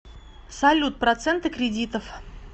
салют проценты кредитов